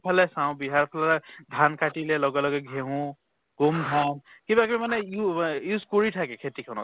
ফালে চাও বিহাৰ ফালে ধান কাটিলে লগে লগে ঘেঁহু, গোম ধান, কিবা কিবি মানে ইউ use কৰি থাকে খেতি খ্নত।